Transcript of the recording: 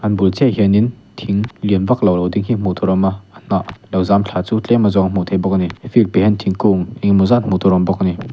an bul chiah a hian in thing lian vaklo lo ding hi hmuh tur a awm a hnah lo zam tha chu tlem azawng a hmuh theih bawk a ni field piah an thingkung engemaw zat hmu tur a awm bawk a ni.